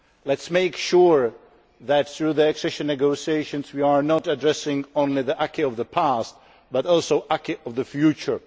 Let us make sure that through the accession negotiations we are not addressing only the acquis of the past, but also the acquis of the future.